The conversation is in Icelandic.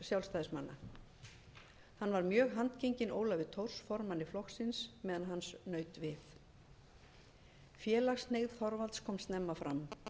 sjálfstæðismanna hann var mjög handgenginn ólafi thors formanni flokksins meðan hans naut við félagshneigð þorvalds kom snemma fram hann